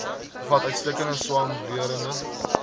bevat uitstekende swamwerende